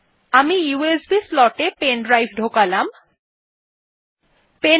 এখন আমি USB slot এ pen ড্রাইভ ঢোকাচ্ছি